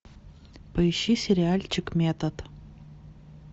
поищи сериальчик метод